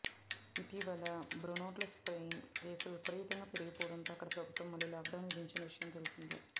ఇటీవల బ్రిటన్లో స్ట్రెయిన్ కేసులు విపరీతంగా పెరిగిపోవడంతో అక్కడి ప్రభుత్వం మళ్లీ లాక్డౌన్ విధించిన విషయం తెలిసిందే